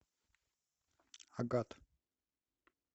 агат